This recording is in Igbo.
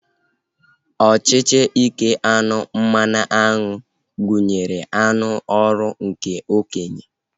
Ọchịchị ike aṅụ mmanụaṅụ gụnyere aṅụ ọrụ nke okenye, dronu na nke eze nwaanyị